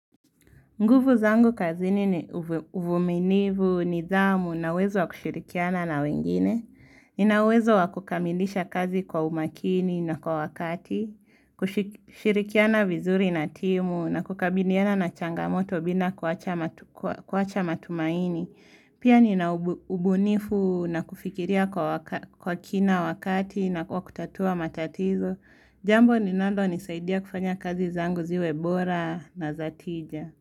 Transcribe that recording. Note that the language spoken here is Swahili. Nguvu zangu kazini ni uvumilivu, nidhamu, na uwezo wa kushirikiana na wengine. Nina uwezo wa kukamilisha kazi kwa umakini na kwa wakati, kushirikiana vizuri na timu, na kukabiliana na changamoto bina kuwacha matumaini. Pia nina ubunifu na kufikiria kwa kina wakati na kwa kutatua matatizo. Jambo linalonisaidia kufanya kazi zangu ziwe bora na za tija.